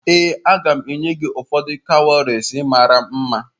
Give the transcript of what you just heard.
Ee, m ga-enye gị ụfọdụ cowries mara mma